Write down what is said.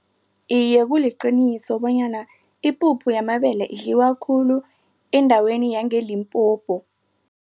Iye, kuliqiniso bonyana ipuphu yamabele idliwa khulu endaweni yange-Limpopo.